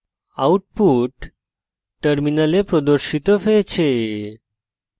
output terminal প্রদর্শিত হয়েছে